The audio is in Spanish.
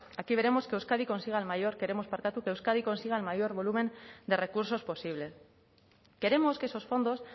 aquí veremos que euskadi consiga el mayor volumen de recursos posible queremos que esos fondos